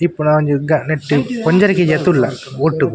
ಇಪ್ಪುನ ಒಂಜಿ ನೆಟ್ಟ್ ಒಂಜರೆ ಕೇಜಿತ್ತುಲ್ಲ ಒಟ್ಟು.